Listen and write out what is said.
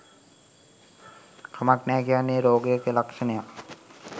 කමක් නෑ කියන්නේ රොගයක ලක්ශනයක්